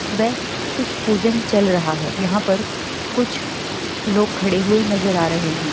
वे कुछ पूजन चल रहा है यहाँ पर कुछ लोग खड़े हुए नजर आ रहे हैं।